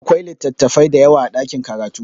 Akwai littafai dayawa a ɗakin karatu